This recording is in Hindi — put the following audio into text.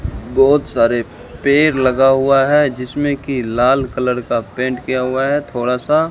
बहुत सारे पेड़ लगा हुआ है जिसमें कि लाल कलर का पेंट किया हुआ है थोड़ा सा।